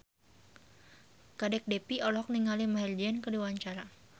Kadek Devi olohok ningali Maher Zein keur diwawancara